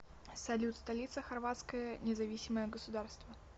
салют столица хорватское независимое государство